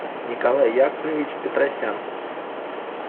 николай яковлевич петросян